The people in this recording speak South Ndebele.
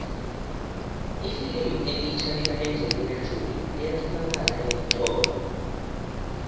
ifilimu elitjha lika engelina jolie liyatholalakala eentolo